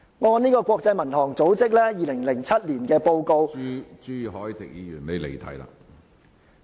按照國際民航組織在2007年發出的報告......